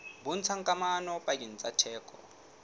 bontshang kamano pakeng tsa theko